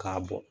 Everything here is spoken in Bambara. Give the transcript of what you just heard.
K'a bɔ